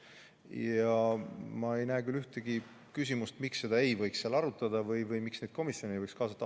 Ja ma ei näe küll ühtegi põhjust, miks seda ei võiks seal arutada või miks komisjone ei võiks kaasata.